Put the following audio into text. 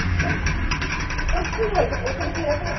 তোর তোর কি হয়েছে? এরকম